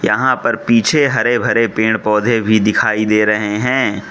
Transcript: यहां पर पीछे हरे भरे पेड़ पौधे भी दिखाई दे रहे हैं।